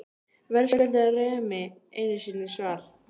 Verðskuldar Remi einu sinni svar?